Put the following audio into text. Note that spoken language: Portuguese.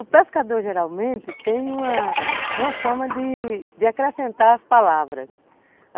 O pescador, geralmente, tem uma, uma forma de acrescentar as palavras.